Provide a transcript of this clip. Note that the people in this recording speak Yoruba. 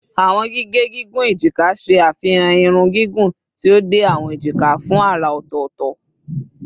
Awọn gige gigun ejika ṣe afihan irun gigun ti o de awọn ejika fun ara ọtọtọ